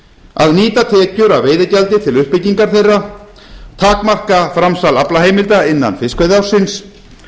að nýta tekjur af veiðigjaldi til uppbyggingar þeirra takmarka framsal aflaheimilda innan fiskveiðiársins